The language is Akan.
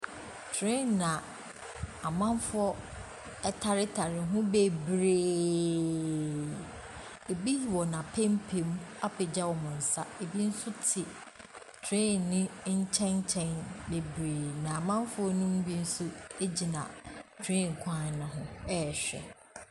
Train a amanfoɔ taretare ho bebree. Ebi wɔ n'apampam apagya wɔn nsa. Ebi nso te tran yi nkyɛnkyɛn bebree, na amanfoɔ no mu bi nso gyina train kwan no ho rehwɛ.